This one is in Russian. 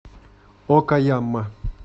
окаяма